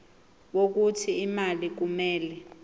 wokuthi imali kumele